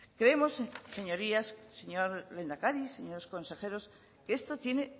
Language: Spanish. creemos señorías señor lehendakari señores consejeros que esto tiene